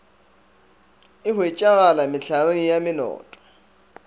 e hwetšegala mehlareng ya menoto